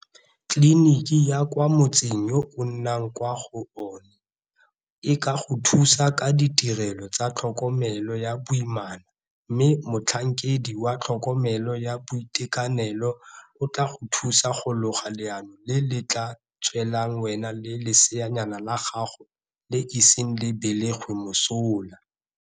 Tleliniki ya kwa motseng yo o nnang kwa go ona e ka go thusa ka ditirelo tsa tlhokomelo ya boimana mme motlhankedi wa tlhokomelo ya boitekanelo o tla go thusa go loga leano le le tla tswelang wena le leseanyana la gago le iseng le belegwe mosola.